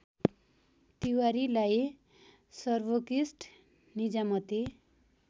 तिवारीलाई सर्वोकृष्ट निजामती